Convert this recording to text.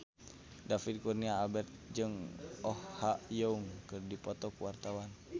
David Kurnia Albert jeung Oh Ha Young keur dipoto ku wartawan